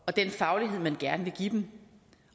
og den faglighed man gerne vil give dem